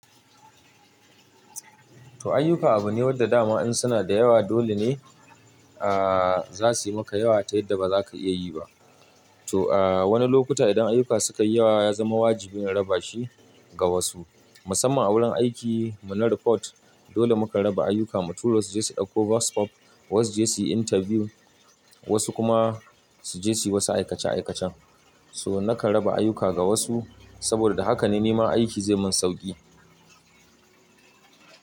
To ayyuka abu ne wanda dama in suna da yawa dole ne a za suyi maka yawa ta yadda ba za ka iya yi ba. To wani lokuta idan ayyuka suka yi yawa ya zama wajibi in raba shi ga wasu musamman a wurin aiki mu na report dole muka raba ayyuka, mutumo su je su ɗauko voice over, wasu je su yi interview wasu kuma su je su yi wasu aikace aikacen. So na kan raba ayyuka ga wasu saboda da haka ne nima aiki zai yi man sauƙi.